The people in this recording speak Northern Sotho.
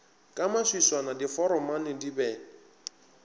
ka maswiswana diforomane di be